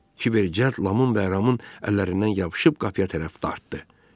Kiber cəld Lamın və Ramın əllərindən yapışıb qapıya tərəf dartdı.